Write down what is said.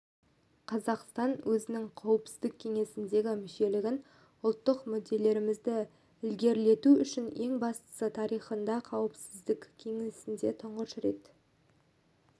қазақстан өзінің қауіпсіздік кеңесіндегі мүшелігін ұлттық мүдделерімізді ілгерілету үшін ең бастысы тарихында қауіпсіздік кеңесінде тұңғыш рет